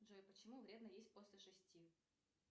джой почему вредно есть после шести